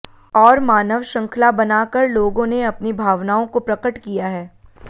और मानव श्रृंखला बना कर लोगों ने अपनी भावनाओं को प्रकट किया है